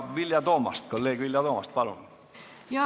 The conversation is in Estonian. Kolleeg Vilja Toomast, palun!